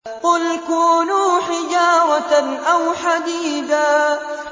۞ قُلْ كُونُوا حِجَارَةً أَوْ حَدِيدًا